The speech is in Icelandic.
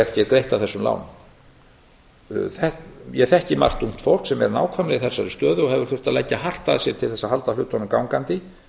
er greitt af þessum lánum ég þekki margt ungt fólk sem er nákvæmlega í slíkri stöðu og hefur þurft að leggja hart að sér til að halda hlutunum gangandi